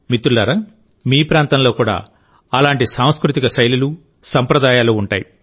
మిత్రులారామీ ప్రాంతంలో కూడా అలాంటి సాంస్కృతిక శైలులు సంప్రదాయాలు ఉంటాయి